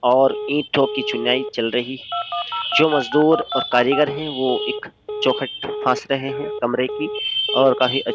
और ईंटों की चुनाई चल रही जो मजदूर और कारीगर हैं वो एक चौखट फांस रहे हैं कमरे की और काफी --